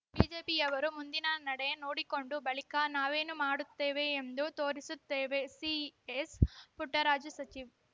ಬಿಜೆಪಿಯವರು ಮುಂದಿನ ನಡೆ ನೋಡಿಕೊಂಡು ಬಳಿಕ ನಾವೇನು ಮಾಡುತ್ತೇವೆ ಎಂದು ತೋರಿಸುತ್ತೇವೆ ಸಿಎಸ್‌ಪುಟ್ಟರಾಜು ಸಚಿವ